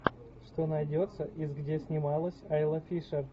что найдется из где снималась айла фишер